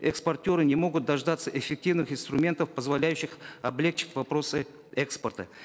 экспортеры не могут дождаться эффективных инструментов позволяющих облегчить вопросы экспорта